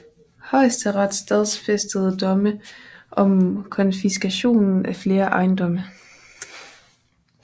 Højesteret stadfæstede domme om konfiskation af flere ejendomme